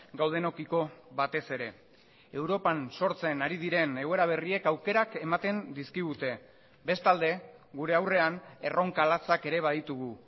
gaudenekiko batez ere europan sortzen ari diren egoera berriek aukerak ematen dizkigute bestalde gure aurrean erronka latzak ere baditugu